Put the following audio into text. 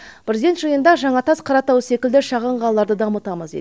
президент жиында жаңатас қаратау секілді шағын қалаларды дамытамыз дейді